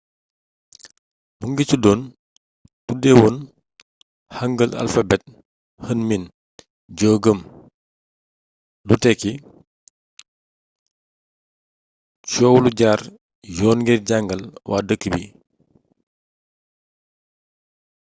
mingi tuddoon tuddeewoon hangeul alphabet hunmin jeogeum lu tekki coow lu jaar yoon ngir jàngal waa dëkk bi